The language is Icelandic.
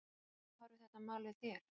Hvernig horfir þetta mál við þér?